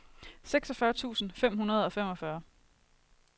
seksogfyrre tusind fem hundrede og femogfyrre